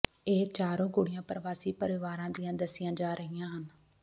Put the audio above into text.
ਇਹ ਚਾਰੋ ਕੁੜੀਆਂ ਪ੍ਰਵਾਸੀ ਪਰਿਵਾਰਾਂ ਦੀਆਂ ਦੱਸੀਆਂ ਜਾ ਰਹੀਆਂ ਹਨ